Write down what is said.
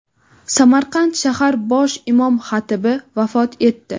Samarqand shahar bosh imom-xatibi vafot etdi.